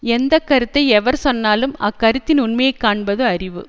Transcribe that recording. எந்த கருத்தை எவர் சொன்னாலும் அக்கருத்தின் உண்மையை காண்பது அறிவு